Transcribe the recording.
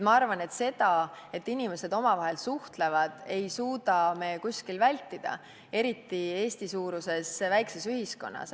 Ma arvan, et inimeste omavahelist suhtlemist ei suuda me kuskil vältida, eriti Eesti-suuruses väikses ühiskonnas.